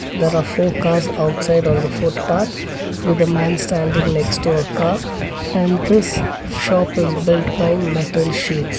there are four cars outside on the foot path with a man standing next to a car and this shop is built by metal sheets.